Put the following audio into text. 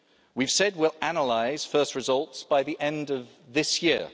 We've said we'll analyse first results by the end of this year.